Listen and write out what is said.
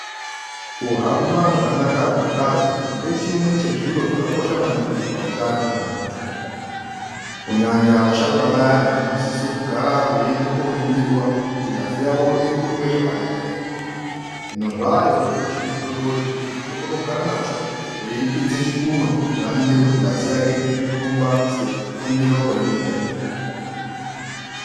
Kuhamba zvakanaka kwengazi ngechimwe chezviro zvakakosha maningi pautano hwemuntu. Kunyanya vasharuka vayana vanosisa kugara veienda koningirwa kuti ngazi yavo iri kurumbe zvakanaka ere . Hino zvaayoo zvimichini zvidodori chekuti muntu unokona kugara nacho eipinze chikunwe kuti aningire kuti ngazi yake irikurumba sekuningirwa kwainotwa ere.